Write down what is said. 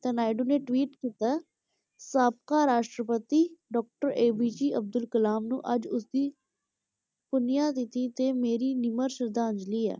ਤਾਂ ਨਾਇਡੂ ਨੇ tweet ਕੀਤਾ, ਸਾਬਕਾ ਰਾਸ਼ਟਰਪਤੀ doctor APJ ਅਬਦੁੱਲ ਕਲਾਮ ਨੂੰ ਅੱਜ ਉਸ ਦੀ ਪੁਨਿਆ ਤਿਥੀ ‘ਤੇ ਮੇਰੀ ਨਿਮਰ ਸ਼ਰਧਾਂਜਲੀ ਹੈ,